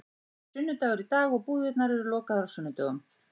Það er sunnudagur í dag og búðirnar eru lokaðar á sunnudögum.